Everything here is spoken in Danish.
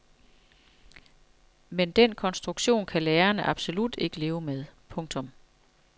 Men den konstruktion kan lærerne absolut ikke leve med. punktum